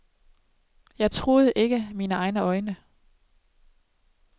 Jeg troede ikke mine egne øjne.